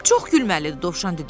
Çox gülməlidir, Dovşan dedi.